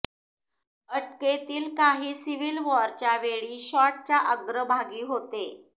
अटकेतील काही सिव्हिल वॉरच्या वेळी शॉट च्या अग्रभागी होते